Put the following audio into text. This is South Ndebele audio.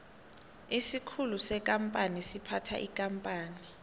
isikhulu sekampani siphatha ikampani